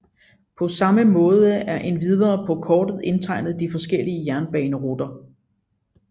Paa samme Maade er endvidere paa Kortet indtegnet de forskellige Jernbaneruter